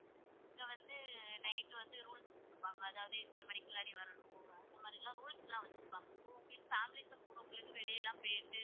இதுல வந்து night வந்து rules போடுவாங்க அதாவது இத்தன மணிகுல்லாடி வரணும் இந்த மாதிரிலா rules லா வச்சு இருப்பாங்க families சா நீங்க வெளியிலலா போயிட்டு